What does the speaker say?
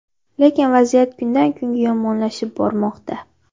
Lekin vaziyat kundan-kunga yomonlashib bormoqda.